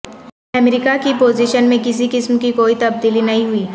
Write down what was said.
امریکہ کی پوزیشن میں کسی قسم کی کوئی تبدیلی نہیں ہوئی